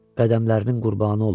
Qədəmlərinin qurbanı olum,